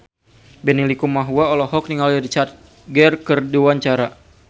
Benny Likumahua olohok ningali Richard Gere keur diwawancara